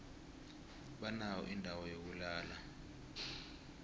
banayo indawo yokulala